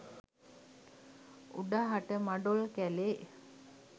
උඩහට මඩොල් කැලේ